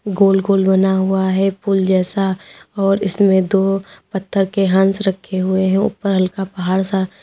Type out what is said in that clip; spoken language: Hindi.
गोल गोल बना हुआ है पुल जैसा और इसमें दो पत्थर के हंस रखे हुए है ऊपर हल्का पहाड़ सा--